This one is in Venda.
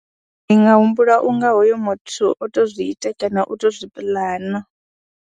Ndi nga humbula u nga hoyo muthu o tou zwi ite kana o tou zwi pulana.